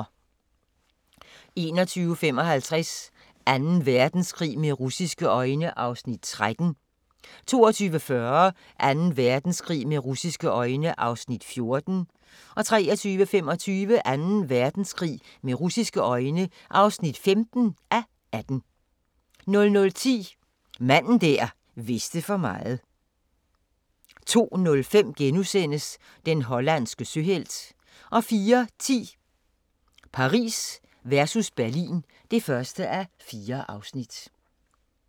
21:55: Anden Verdenskrig med russiske øjne (13:18) 22:40: Anden Verdenskrig med russisje øjne (14:18) 23:25: Anden Verdenskrig med russiske øjne (15:18) 00:10: Manden der vidste for meget 02:05: Den hollandske søhelt * 04:10: Paris versus Berlin (1:4)